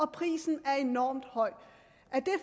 prisen er enormt høj